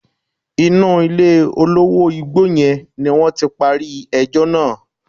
Inú ilé olówó igbó yẹn ni wọ́n ti parí ẹjọ́ náà.